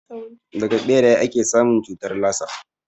Daga ɓeraye ake samun cutar lasa